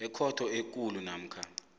ekhotho ekulu namkha